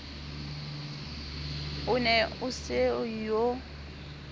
o ne o se yo